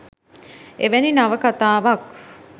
එවැනි නවකතාවක්